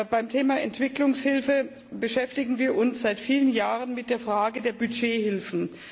Beim Thema Entwicklungshilfe beschäftigen wir uns seit vielen Jahren mit der Frage der Budgethilfen.